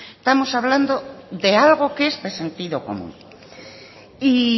estamos hablando de algo que es de sentido común y